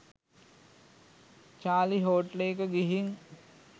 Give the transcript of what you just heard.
Charlie හෝටලයක ගිහින්